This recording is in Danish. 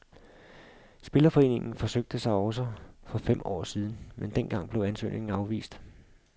Spillerforeningen forsøgte sig også for fem år siden, men dengang blev ansøgningen afvist.